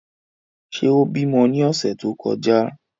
Ṣe o bimọ ni ọsẹ to kọja?